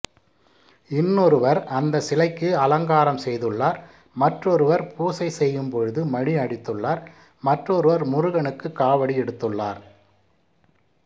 இன்னொருவர் அந்த சிலைக்கு அலங்காரம் செய்துள்ளார் மற்றொருவர் பூசை செய்யும் பொழுது மணி அடித்துள்ளார் மற்றொருவர் முருகனுக்கு காவடி எடுத்துள்ளார்